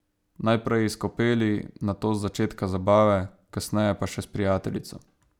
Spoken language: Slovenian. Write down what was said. Najprej iz kopeli, nato z začetka zabave, kasneje pa še s prijateljico.